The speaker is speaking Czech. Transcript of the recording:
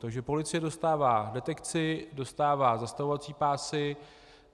Takže policie dostává detekci, dostává zastavovací pásy.